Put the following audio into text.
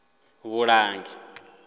vhulangi